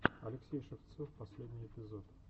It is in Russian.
алексей шевцов последний эпизод